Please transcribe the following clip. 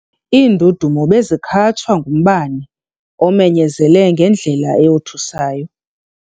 Iindudumo bezikhatshwa ngumbane omenyezele ngendlela eyothusayo.